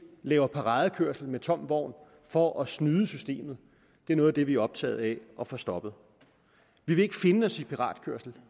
laver paradekørsel med tom vogn for at snyde systemet er noget af det vi er optaget af at få stoppet vi vil ikke finde os i piratkørsel